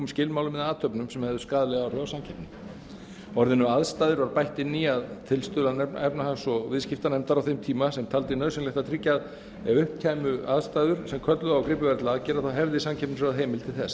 skilmálum eða athöfnum sem hefðu skaðleg áhrif á samkeppni orðinu aðstæður var bætt inn í að tilstuðlan efnahags og viðskiptanefndar á þeim tíma sem taldi nauðsynlegt að tryggja að ef upp kæmu aðstæður sem kölluðu á að gripið væri til aðgerða hefði samkeppnisráð heimild til